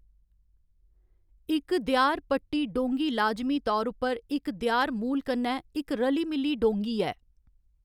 इक देआर पट्टी डोंगी लाजमी तौर उप्पर इक देआर मूल कन्नै इक रली मिली डोंगी ऐ।